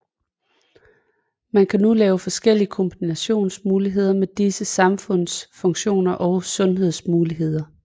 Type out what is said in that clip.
Man kan nu lave forskellige kombinationsmuligheder med disse sandhedsfunktioner og sandhedsmuligheder